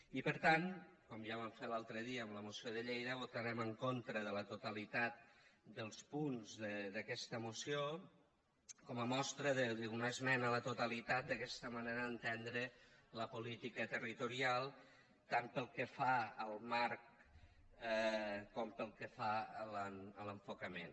i per tant com ja vam fer l’altre dia amb la moció de lleida votarem en contra de la totalitat dels punts d’aquesta moció com a mostra d’una esmena a la totalitat d’aquesta manera d’entendre la política territorial tant pel que fa al marc com pel que fa a l’enfocament